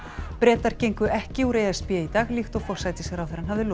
Bretar gengu ekki úr e s b í dag líkt og forsætisráðherrann hafði lofað